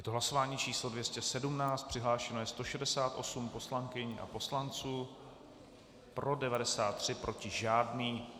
Je to hlasování číslo 217 přihlášeno je 168 poslankyň a poslanců, pro 93, proti žádný.